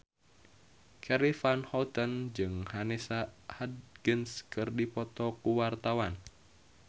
Charly Van Houten jeung Vanessa Hudgens keur dipoto ku wartawan